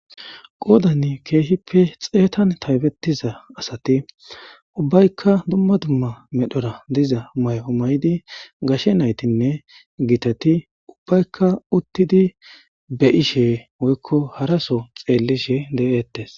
qoodan ke'ihippe xeettan taybettiza assati ubbaykka dumma dumma medhdhorra diiza may'o may'idi gashe naytinne gittati ubbaykka uttidi beyishshe woykko haraso xeellishe de'ettes